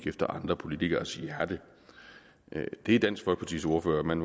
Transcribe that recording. efter andre politikeres hjerte det er dansk folkepartis ordfører man